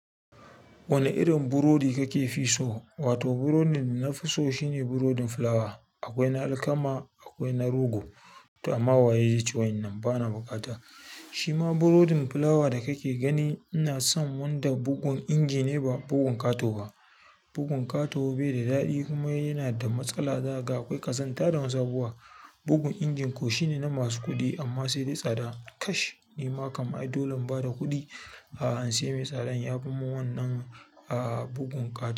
Wane irin burodi kake fi so? Wato burodin nafi so shine burodin fulawa. Akwai na alkama, akwai na rogo. To amma waye zai ci waƴannan bana bukata. Shi ma burodin fulawa da kake gani ina son wanda bugun inji ne ba bugun ƙato ba. Bugun ƙato bai da daɗi kuma yana da matsala. Zaga akwai ƙazanta da wasu abubuwa. Bugun injin ko shine na masu kuɗi amma sai dai tsada kash. Nima kaman ai dole in ba da kuɗi. A'a in sai mai tsadan ya fimun wannan a bugun ƙato.